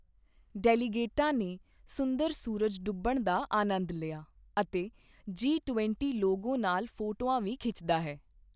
ਡੈਲੀਗੇਟਾਂ ਨੇ ਸੁੰਦਰ ਸੂਰਜ ਡੂੱਬਣ ਦਾ ਆਨੰਦ ਲਿਆ ਅਤੇ ਜੀ ਟਵੰਟੀ ਲੋਗੋ ਨਾਲ ਫੋਟੋਆਂ ਵੀ ਖਿੱਚਦਾ ਹੈ।